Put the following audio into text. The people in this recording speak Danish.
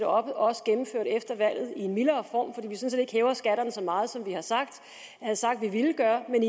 også gennemført efter valget i en mildere form fordi vi sådan set ikke hæver skatterne så meget som vi havde sagt vi ville gøre men